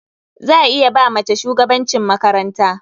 Za a iya ba mace shugabancin makaranta.